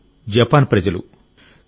వారు జపాన్ ప్రజలు